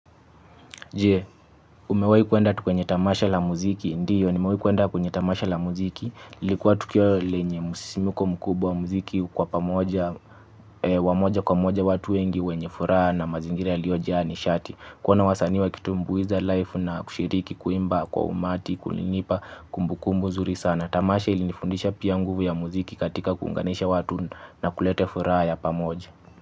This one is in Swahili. Umewahi kuenda kwenye tamasha la muziki? Ndiyo, nimewahi kuenda kwenye tamasha la muziki, ilikuwa tukio lenye msisomko mkubwa, mziki kwa pamoja, wa moja kwa moja watu wengi wenye furaha na mazingira yaliyojaa nishati. Kuona wasanii wakitumbuiza live na kushiriki kuimba kwa umati, kulinipa kumbu kumbu zuri sana. Tamasha ilinifundisha pia nguvu ya muziki katika kuunganisha watu na kulete furaha ya pamoja.